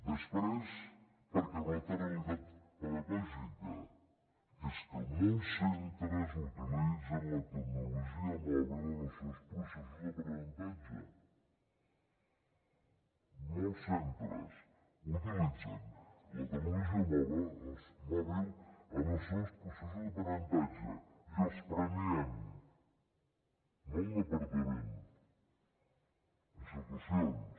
després perquè hi ha una altra realitat pedagògica que és que molts centres utilitzen la tecnologia mòbil en els seus processos d’aprenentatge molts centres utilitzen la tecnologia mòbil en els seus processos d’aprenentatge i els premien no el departament institucions